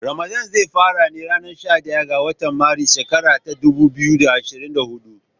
Ramadan zai fara ne a ranar shaɗaya ga watan Maris, shekara ta dubu biyu da ashrin da hudu.